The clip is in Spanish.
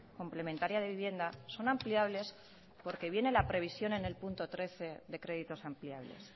complementaria de vivienda son ampliables porque viene la previsión en el punto trece de créditos ampliables